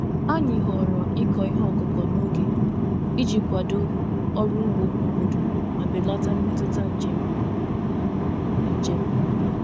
Anyị họọrọ ịkọ ihe ọkụkọ n'oge iji kwado ọrụ ugbo n'obodo ma belata mmetụta njem. njem.